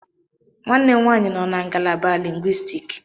Nwanne m nwaanyị nọ na ngalaba lingwistik.